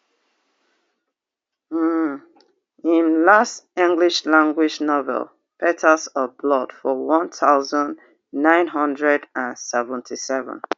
um im last english language novel petals of blood for one thousand, nine hundred and seventy-seven